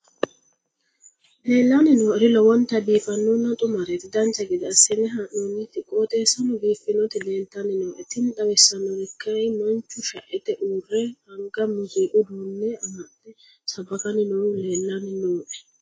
leellanni nooeri lowonta biiffinonna xumareeti dancha gede assine haa'noonniti qooxeessano biiffinoti leeltanni nooe tini xawissannori kayi manchu shaete uurre anga muziiqu uduunne amafde sabbakanni noohu leellanni nooe